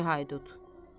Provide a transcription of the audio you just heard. Bir incə haydut.